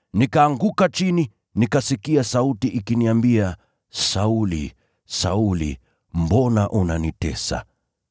Nikaanguka chini, nikasikia sauti ikiniambia, ‘Sauli, Sauli! Mbona unanitesa?’